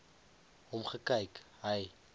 hom gekyk hy